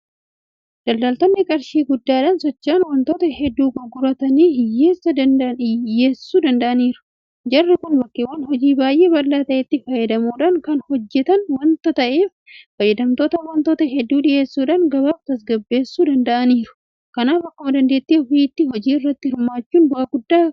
Daldaltoonni qarshii guddaadhaan socho'an waantota hedduu gurgurtaadhaaf dhiyeessuu danda'aniiru. Jarri kun bakkeewwan hojii baay'ee bal'aa ta'etti fayyadamuudhaan kan hojjetan waanta ta'eef fayyadamtootaaf waantota hedduu dhiyeessuudhaan gabaa tasgabbeessuu danda'aniiru. Kanaaf akkuma dandeettii ofiitti hojii irratti hirmaachuun bu'aa guddaa fiduu danda'a.